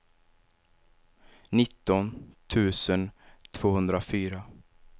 nitton tusen tvåhundrafyra